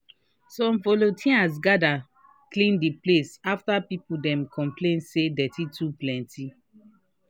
some volunteers gather clean the place after people dem complain say dirty too plenty.